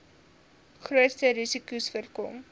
grootste risikos voorkom